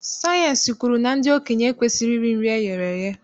Sayịensị kwuru na ndị okenye ekwesighị iri nri eghere eghe.